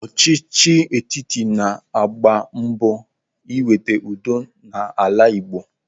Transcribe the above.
Ọchịchị etiti na-agba mbọ iweta udo n'ala Igbo.